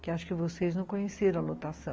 que acho que vocês não conheceram, a lotação.